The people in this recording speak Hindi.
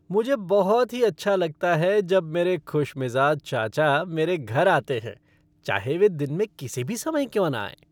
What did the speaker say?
मुझे बहुत ही अच्छा लगता है जब मेरे खुशमिज़ाज चाचा मेरे घर आते हैं, चाहे वे दिन में किसी भी समय क्यों न आएं।